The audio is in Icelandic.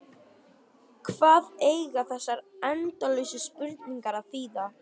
Hvað eiga þessar endalausu spurningar að þýða?